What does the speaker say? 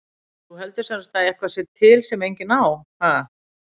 Þú heldur sem sagt að eitthvað sé til sem enginn á, ha?